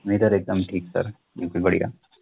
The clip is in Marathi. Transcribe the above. मी तर एकदम ठीक तर बढिया